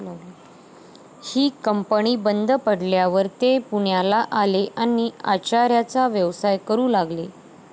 ही company बंद पडल्यावर ते पुण्याला आले आणि आचाऱ्याचा व्यवसाय करू लागले.